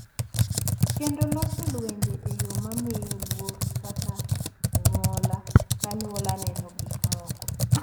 Kendo loso lwenje e yo ma miyo luor kaka anyuola ka anyuola neno gik moko.